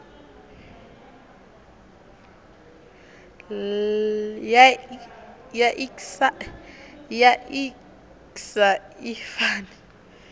ya iks a i fani